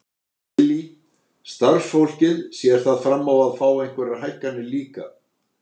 Lillý: Starfsfólkið, sér það fram á að fá einhverjar hækkanir líka?